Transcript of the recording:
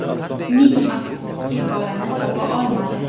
Ming afsuski, bolani topa olmadi.